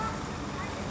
Hazır olacaq.